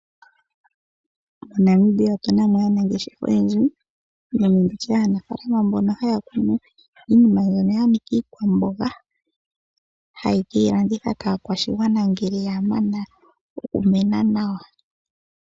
Mo Namibia otunamo aanangeshefa oyendji haya kunu iinima mbyono ya nika iikwamboga haye keyi landitha kaakwashigwana ngele ya mana oku koka nawa.